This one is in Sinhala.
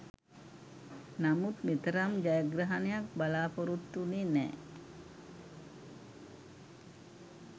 නමුත් මෙතරම් ජයග්‍රහණයක් බලා‍පොරොත්තු වුණේ නෑ.